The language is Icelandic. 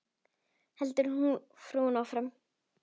heldur frúin áfram.